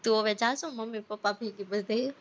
તું હવે જા છો? મમ્મી પપ્પા ભેગી બધેય?